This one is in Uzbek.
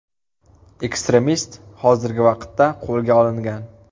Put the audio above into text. Ekstremist hozirgi vaqtda qo‘lga olingan.